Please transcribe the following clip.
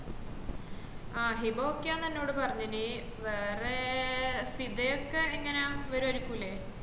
ആഹ് Hiba ok അന്ന് എന്നോട് പറഞ്ഞിന് വേറേ ഫിദ യൊക്കെ എങ്ങന വരാരുക്കൂലെ